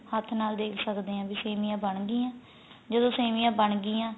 ਹੱਥ ਨਾਲ ਦੇਖ ਸਕਦੇ ਆ ਵੀ ਸੇਮੀਆਂ ਬਣ ਗਿਆਂ ਜਦੋ ਸੇਮੀਆਂ ਬਣ ਗਿਆਂ